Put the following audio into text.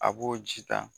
A b'o ji ta